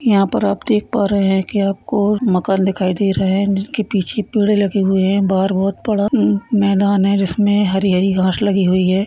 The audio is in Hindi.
यहाँ पर आप देख पा रहै हैं की आपको मकान देखाई दे रहे हैं जिनके पीछे पेड़ लगे हुए है बाहर बहौत बड़ा मैदान है जिसमें हरी-हरी घास लगी हुई है।